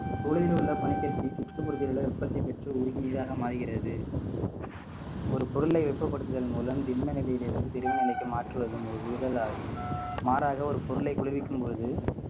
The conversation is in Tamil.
குவளையில் உள்ள பனிக்கட்டி சுற்று முறுக்குகளை உற்பத்தி பெற்று உருகி நீராக மாறுகிறது ஒரு பொருளை வெப்பப்படுத்துதல் மூலம் திண்ம நிலையிலிருந்து திரவ நிலைக்கு மாற்றுவது ஆகும் மாறாக ஒரு பொருளைக் குளிர்விக்கும் பொழுது